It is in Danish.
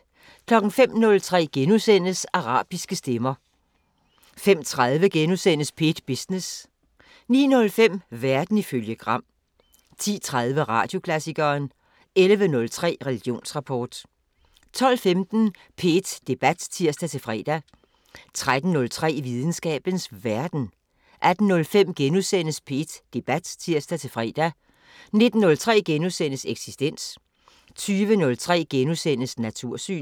05:03: Arabiske stemmer * 05:30: P1 Business * 09:05: Verden ifølge Gram 10:03: Radioklassikeren 11:03: Religionsrapport 12:15: P1 Debat (tir-fre) 13:03: Videnskabens Verden 18:05: P1 Debat *(tir-fre) 19:03: Eksistens * 20:03: Natursyn *